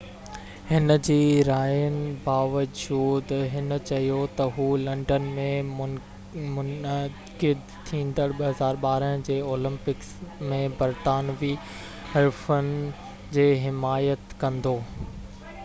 هِن جي راين باوجود هِن چيو ته هُو لنڊن ۾ منعقد ٿيندڙ 2012 جي اولمپڪس ۾ برطانوي حريفن جي حمايت ڪندو